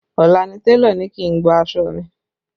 Ọ̀la ni télọ̀ ni kí n gba aṣọ mi